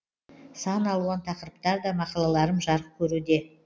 сан алуан тақырыптар да мақалаларым жарық көруде